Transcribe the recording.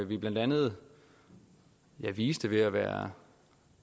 vi blandt andet viste ved at være